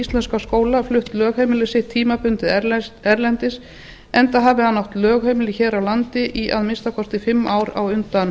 íslenska skóla flutt lögheimili sitt tímabundið erlendis enda hafi hann átt lögheimili hér á landi í að minnsta kosti fimm ár á undan